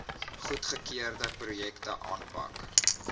goedgekeurde projekte aanpak